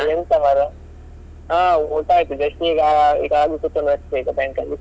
ಎಂತ ಮಾರ್ರೆ ಹಾ ಊಟ ಆಯ್ತು just ಈಗ ಈಗ ಆಗಿ ಕೂತ್ಕೊಂಡದ್ದು ಅಷ್ಟೇ bank ಅಲ್ಲಿ.